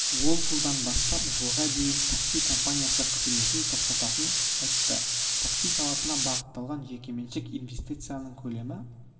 ол жылдан бастап жылға дейін такси компаниясы қызметін тоқтатқанын айтты такси саласына бағытталған жекеменшік инвестицияның көлемі